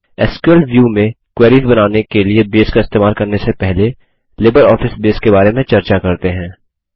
SQL view में queries बनाने के लिए बेस का इस्तेमाल करने से पहले लिबर ऑफिस बेस के बारे में चर्चा करते हैं